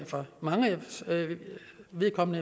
for manges vedkommende